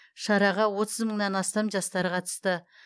шараға отыз мыңнан астам жастар қатысты